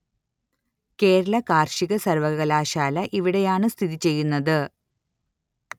കേരള കാര്‍ഷിക സര്‍വ്വകലാശാല ഇവിടെയാണ് സ്ഥിതിചെയ്യുന്നത്